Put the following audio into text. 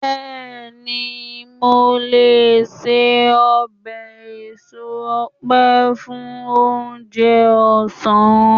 béèni, mo le se obe eso òpe fún onje ọsán